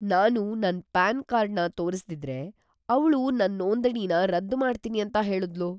ನಾನು ನನ್ ಪ್ಯಾನ್‌ಕಾರ್ಡ್‌ನ ತೋರಿಸ್ದಿದ್ರೆ, ಅವ್ಳು ನನ್ ನೋಂದಣಿನ ರದ್ದು ಮಾಡ್ತೀನಿ ಅಂತ ಹೇಳುದ್ಳು.